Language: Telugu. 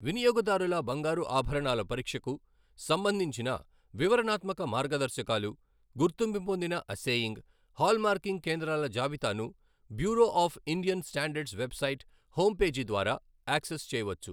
వినియోగదారుల బంగారు ఆభరణాల పరీక్షకు సంబంధించిన వివరణాత్మక మార్గదర్శకాలు, గుర్తింపు పొందిన అస్సేయింగ్, హాల్మార్కింగ్ కేంద్రాల జాబితాను Bureau of Indian Standards website home page ద్వారా యాక్సెస్ చేయవచ్చు.